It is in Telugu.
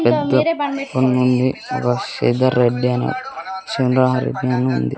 పెద్ద కొండుంది ఒక శ్రీధర్ రెడ్డి అని సుండాహ రెడ్డి అని ఉంది.